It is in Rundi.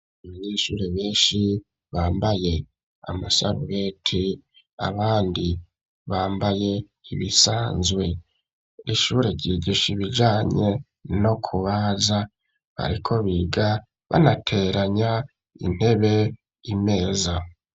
Abanyeshure benshi bambaye amasarubete, abandi bambaye ibisanzwe. Ishure ryigisha ibijanye no kubaza. Bariko biga banateranya intebe n'imeza.